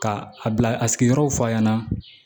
Ka a bila a sigiyɔrɔw fɔ a ɲɛna